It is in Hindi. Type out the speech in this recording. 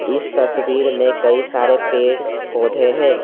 इस तस्वीर में कई सारे पेड़ पौधे हैं।